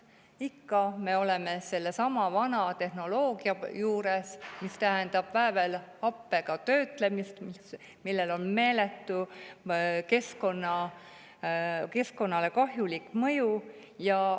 Ikka me oleme sellesama vana tehnoloogia juures, see tähendab väävelhappega töötlemist, millel on meeletu keskkonnale kahjulik mõju.